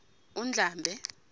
undlambe